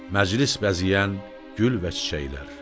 məclis bəzəyən gül və çiçəklər.